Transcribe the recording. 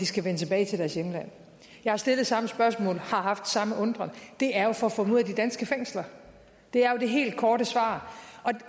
skal vende tilbage til deres hjemland jeg har stillet samme spørgsmål har haft samme undren det er for at få dem ud af de danske fængsler det er jo det helt korte svar